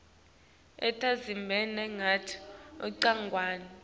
etindzabeni takhe ncongwane